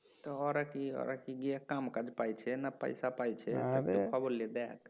তো ওরা কি ওরা কি গিয়ে কাম কাজ পাইছে পয়সা পাইছে খবর লিয়ে দেখ